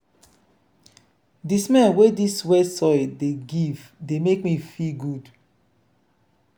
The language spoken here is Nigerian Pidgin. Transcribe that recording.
di smell wey dis wet soil dey give dey make me feel good.